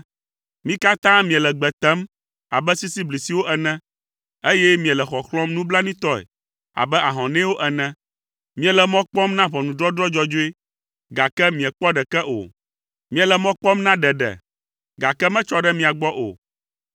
Mi katã miele gbe tem abe sisiblisiwo ene, eye miele xɔxlɔ̃m nublanuitɔe abe ahɔnɛwo ene. Miele mɔ kpɔm na ʋɔnudɔdrɔ̃ dzɔdzɔe, gake miekpɔ ɖeke o. Miele mɔ kpɔm na ɖeɖe, gake metsɔ ɖe mia gbɔ o,